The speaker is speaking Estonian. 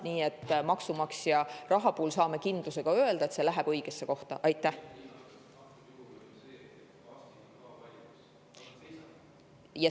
Nii et maksumaksja raha kohta saame kindlalt öelda, et see läheb õigesse kohta.